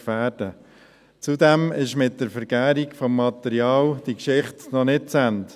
Zudem ist die Geschichte mit der Vergärung des Materials noch nicht zu Ende: